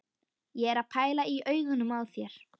Ég er að pæla í augunum á þér.